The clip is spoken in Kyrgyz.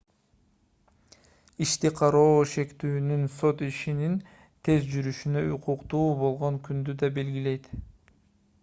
ишти кароо шектүүнүн сот ишинин тез жүрүшүнө укуктуу болгон күндү да белгилейт